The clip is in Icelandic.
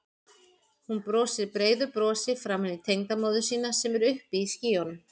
Hún brosir breiðu brosi framan í tengdamóður sína sem er uppi í skýjunum.